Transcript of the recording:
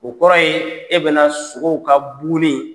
O kɔrɔ ye e bɛ na sogow ka